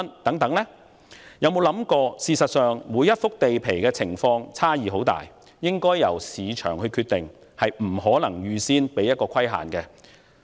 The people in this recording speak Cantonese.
大家有否想過，事實上，每幅地皮的情況差異很大，故售價應由市場決定，而非預先設限呢？